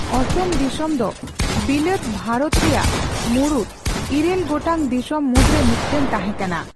ᱚᱥᱚᱢ ᱫᱤᱥᱚᱢ ᱫᱚ ᱵᱤᱞᱟᱹᱛ ᱵᱷᱟᱨᱚᱛ ᱨᱮᱭᱟᱜ ᱢᱩᱬᱩᱫ ᱤᱨᱟᱹᱞ ᱜᱚᱴᱟᱝ ᱫᱤᱥᱚᱢ ᱢᱩᱫᱽ ᱨᱮ ᱢᱤᱫᱴᱟᱝ ᱛᱟᱦᱮᱸ ᱠᱟᱱᱟ ᱾